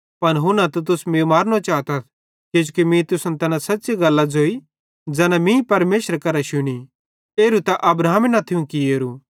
पन हुन्ना तुस मीं मारनो चातथ किजोकि मीं तुसन तैना सच़्च़ी गल्लां ज़ोई ज़ैना मीं परमेशरे करां शुनी एरू त अब्राहमे न थियूं कियोरू